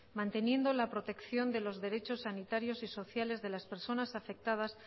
manteniendo la protección de los derechos sanitarios y sociales de las personas afectadas